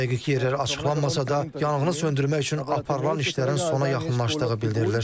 Dəqiq yerlər açıqlanmasa da, yanğını söndürmək üçün aparılan işlərin sona yaxınlaşdığı bildirilir.